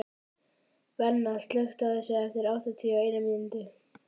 Benna, slökktu á þessu eftir áttatíu og eina mínútur.